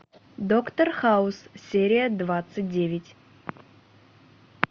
доктор хаус серия двадцать девять